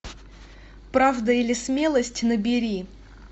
правда или смелость набери